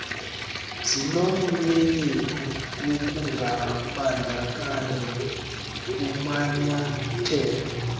zinomnyenyevu wokungabandakanywa kumanyathelo